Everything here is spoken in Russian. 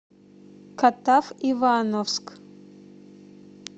катав ивановск